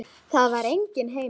Það er enginn heima.